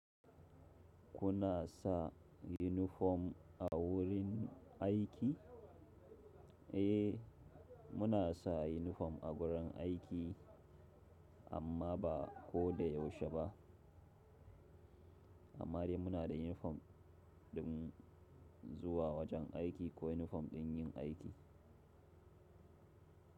Kuna sa yunifom a wurin aiki? Eh, muna sa yunifom a wurin aiki amma ba ko da yaushe ba. Amma dai muna da yunifom ɗin zuwa wajen aiki ko yunifom ɗin yin aiki.